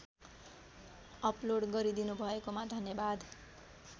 upload गरिदिनुभएकोमा धन्यवाद